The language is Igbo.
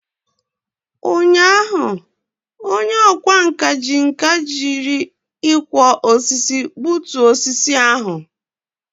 Ụnyaahụ, onye ọkwá nkà ji nkà jiri ịkwọ osisi gbutuo osisi ahụ.